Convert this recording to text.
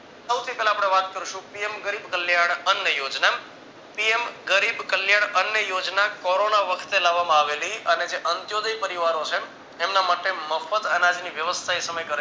સૌથી પેહલા આપણે વાત કરશું PM Garib Kalyan Anna Yojana. PM Garib Kalyan Anna Yojana corona વખતે લાવવામાં આવેલી અને જે પરિવારો છે એમના માટે મફત અનાજની વ્યવસ્થા એ સમયે કરેલી